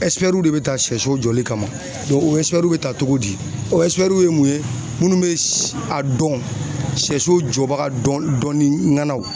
de bɛ ta sɛso jɔli kama o bɛ ta cogo di o ye mun ye minnu bɛ a dɔn sɛso jɔbaga dɔn dɔnni